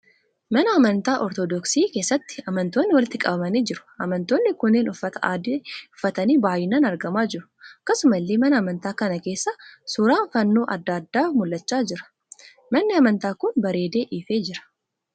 Mana amantaa 'Ortodoksii' keessatti amantoonni walitti qabamanii jiru. Amantoonni kunneen uffata adii uffatanii baayyinaan argamaa jiru. Akkasumallee mana amantaa kana keessa suuraan fannoo adda addaa mul'achaa jira. Manni amantaa kun bareedee ifee jira.